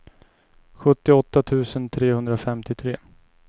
sjuttioåtta tusen trehundrafemtiotre